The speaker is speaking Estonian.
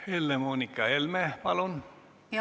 Helle-Moonika Helme, palun!